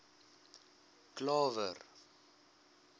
klawer